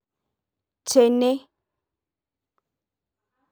Tene.